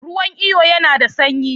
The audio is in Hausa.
Ruwan iyo yana da sanyi?